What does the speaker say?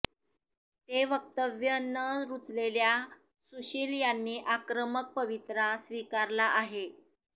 ते वक्तव्य न रूचलेल्या सुशील यांनी आक्रमक पवित्रा स्वीकारला आहे